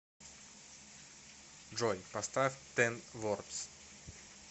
джой поставь тен вордс